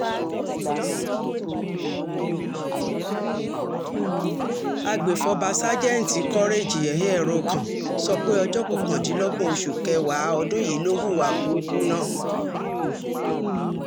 àgbẹ̀fọ́fà sájẹ́ǹtì courage ekhieorekàn sọ pé ọjọ́ kọkàndínlọ́gbọ̀n oṣù kẹwàá ọdún yìí ló hùwà búùkù náà